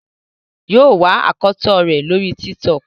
yíò wá akọtọ rẹ lórí TikTok